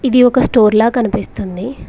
ఇది ఒక స్టోర్ లా కనిపిస్తుంది.